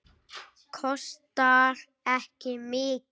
Kostar ekki mikið.